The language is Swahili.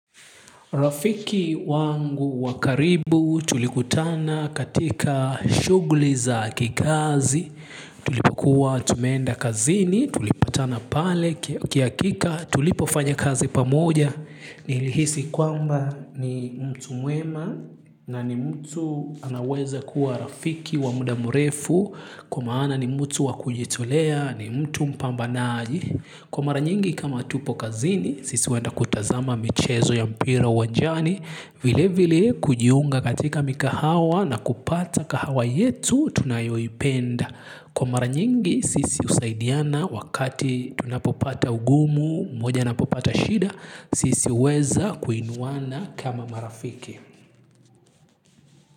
Rafiki wangu wa karibu tulikutana katika shughuli za kikazi, tulipokuwa tumeenda kazini, tulipatana pale, kihakika, tulipofanya kazi pamoja, nilihisi kwamba ni mtu mwema, na ni mtu anaweza kuwa rafiki wa muda mrefu, kwa maana ni mtu wa kujitolea, ni mtu mpambanaji. Kwa mara nyingi kama tupo kazini sisi henda kutazama michezo ya mpira uwajani, vile vile kujiunga katika mikahawa na kupata kahawa yetu tunayoipenda. Kwa mara nyingi sisi husaidiana wakati tunapopata ugumu mmoja anapopata shida. Sisi huweza kuinuana kama marafiki.